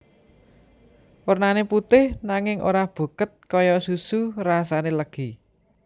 Wernané putih nanging ora buket kaya susu rasane legi